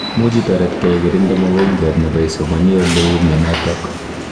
Muuch itaret gee ikirindeee mogongiat nebo isomaniii leuu minotok